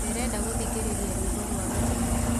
ndĩrenda gũthĩkĩrĩrĩa rwĩmbo rwa gĩkeno